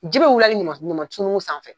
Je wuli hali ɲaman ton sanfɛ!